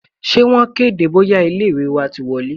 Ṣé wọn kéde bóyá ilé ìwé wa ti wọlé?